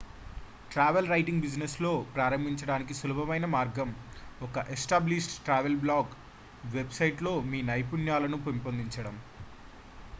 travel writing business లో ప్రారంభించడానికి సులభమైన మార్గం ఒక established travel blog website లో మీ నైపుణ్యాలను పెంపొందించడం